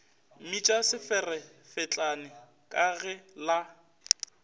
mmitša seferefetlane ka ge la